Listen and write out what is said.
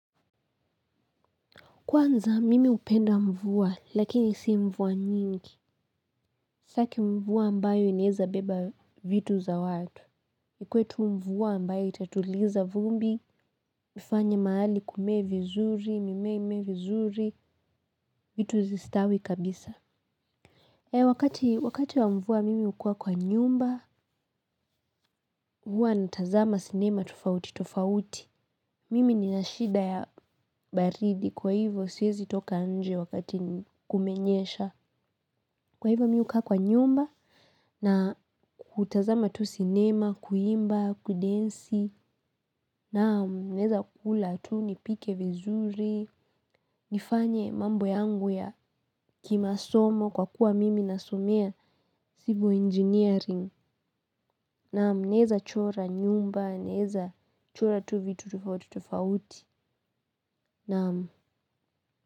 Kwanza, mimi upenda mvua, lakini si mvua nyingi. Staki mvua ambayo ineza beba vitu za watu. Ikuetu mvua ambayo itatuliza vumbi, mifanya maali kume vizuri, mimea ime vizuri, vitu zistawi kabisa. E, wakati wa mvua mimi ukua kwa nyumba, hua natazama sinema, tofauti, tofauti. Mimi ninashida ya baridi, kwa hivo siyezi toka nje wakati kumenyesha. Kwa hivyo miu kaa kwa nyumba na kutazama tu sinema, kuimba, kudensi, naamu neza kula tu nipike vizuri, nifanye mambo yangu ya kimasomo kwa kuwa mimi nasomea civil engineering, naamu neza chora nyumba, neza chora tu vitu tufauti tufauti, naamu.